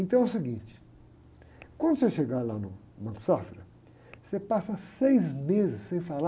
Então é o seguinte, quando você chegar lá no Banco Safra, você passa seis meses sem falar